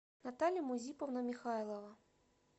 наталья музиповна михайлова